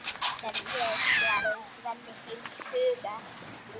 Til er ég, svarar Svenni heils hugar.